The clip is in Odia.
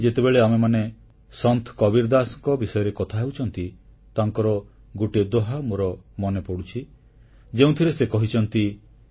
ଆଜି ଯେତେବେଳେ ଆମେମାନେ ସନ୍ଥ କବୀରଦାସଙ୍କ ବିଷୟରେ କଥା ହେଉଛନ୍ତି ତାଙ୍କର ଗୋଟିଏ ଦୋହା ମୋର ମନେପଡ଼ୁଛି ଯେଉଁଥିରେ ସେ କହିଛନ୍ତି